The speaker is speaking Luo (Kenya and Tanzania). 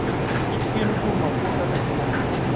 Kich geno kuom mafua kaka chiembgi.